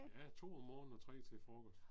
Ja 2 om morgenen og 3 til frokost